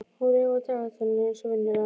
Hún reif af dagatalinu eins og venjulega.